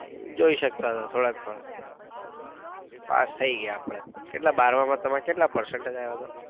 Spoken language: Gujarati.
જોઈ શક્તાં હતા થોડાક થોડાક પાસ થઇ ગયા આપડે કેટલા બારમા માં તમારે કેટલા percentage આવ્યા હતા?